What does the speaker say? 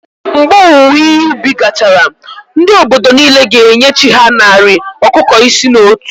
Mgbe owuwe ihe ubi gachara, ndị obodo niile ga-enye chí ha narị ọkụkọ isii na otu